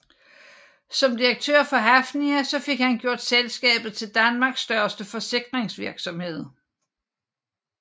Som direktør for Hafnia fik han gjort selskabet til Danmarks største forsikringsvirksomhed